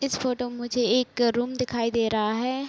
इस फोटो में मुझे एक रूम दिखाई दे रहा है।